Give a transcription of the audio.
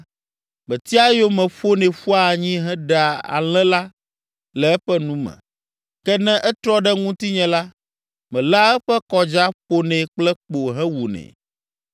metia eyome ƒonɛ ƒua anyi heɖea alẽ la le eƒe nu me. Ke ne etrɔ ɖe ŋutinye la, meléa eƒe kɔdza ƒonɛ kple kpo hewunɛ.